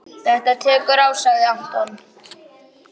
Þetta tekur á sagði Anton.